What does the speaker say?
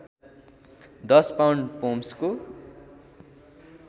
१० pound पोम्सको